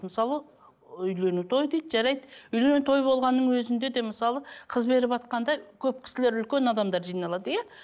мысалы үйлену той дейді жарайды үйлену той болғанның өзінде де мысалы қыз беріватқанда көп кісілер үлкен адамдар жиналады иә